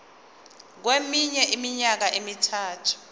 kweminye iminyaka emithathu